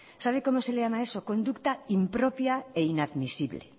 sabe como se le llama a eso conducta impropia e inadmisible